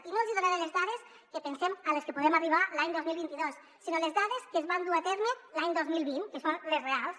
i no els donaré les dades a les que pensem que podem arribar l’any dos mil vint dos sinó les dades que es van dur a terme l’any dos mil vint que són les reals